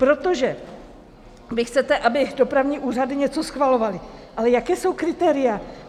Protože vy chcete, aby dopravní úřady něco schvalovaly, ale jaká jsou kritéria?